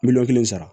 Miliyɔn kelen sara